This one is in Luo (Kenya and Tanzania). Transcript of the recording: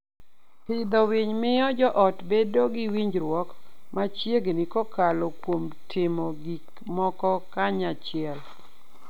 Pidho winy miyo joot bedo gi winjruok machiegni kokalo kuom timo gik moko kanyachiel.